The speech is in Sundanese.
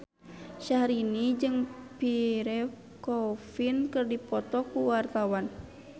Syahrini jeung Pierre Coffin keur dipoto ku wartawan